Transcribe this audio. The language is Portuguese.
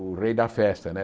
O rei da festa, né?